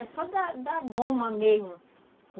É só da da goma mesmo.